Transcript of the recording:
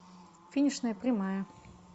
финишная прямая